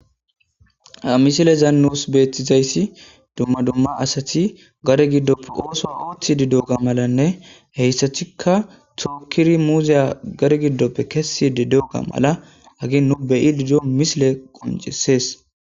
Ha misiliyan nus betishe dizaysi dumma dumma asati gade gidon oso oothishe diyoga malane hesatika tokidi muzaya gade gidope kesidi diyoga ha misilen qoncises